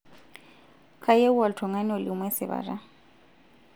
kayieu oltung'ani olimu esipata